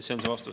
See on vastus.